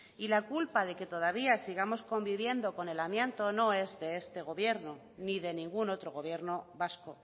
y la culpa de que todavía sigamos conviviendo con el amianto no es de este gobierno ni de ningún otro gobierno vasco